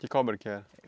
Que cobra que é?